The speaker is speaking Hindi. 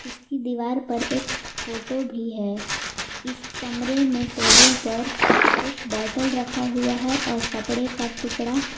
इसकी दीवार पर एक फोटो भी है इस कमरे में टेबुल पर एक बोटल रखा हुआ है और कपड़े का टुकड़ा--